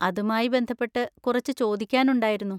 അതുമായി ബന്ധപ്പെട്ട് കുറച്ച് ചോദിക്കാനുണ്ടായിരുന്നു.